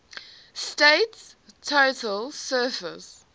state's total surface